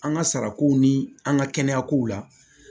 An ka sarako ni an ka kɛnɛya kow la